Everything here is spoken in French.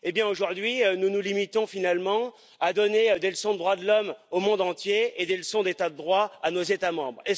Aujourd'hui nous nous limitons finalement à donner des leçons de droits de l'homme au monde entier et des leçons d'état de droit à nos États membres.